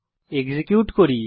execute করি